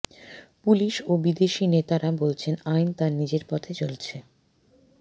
police ও BJP নেতারা বলছেন আইন তার নিজের পথে চলেছে